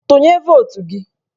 Tụnye votu gị!